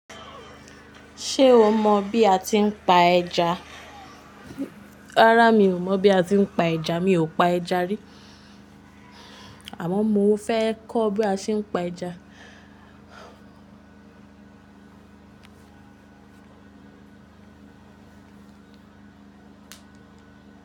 Ṣé o mọ bí a ti ń pa ẹja? Rárá mi ò mọ̀ bí a ti ń pa ẹja, mi ò pa ẹja rí. Àmọ́ mo fẹ́ kọ́ bí a tí ń pa ẹja.